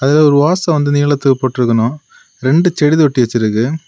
இதுல ஒரு ஓச வந்து நீளத்துக்கு போட்டிருக்கணும் ரெண்டு செடி தொட்டி வச்சிருக்கு.